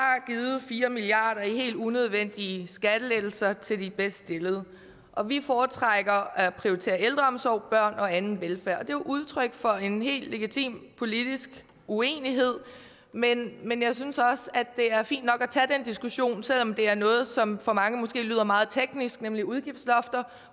givet fire milliard kroner i helt unødvendige skattelettelser til de bedst stillede og vi foretrækker at prioritere ældreomsorg børn og anden velfærd og det er jo udtryk for en helt legitim politisk uenighed men men jeg synes også det er fint nok at tage den diskussion selv om det er noget som for mange måske lyder meget teknisk nemlig om udgiftslofter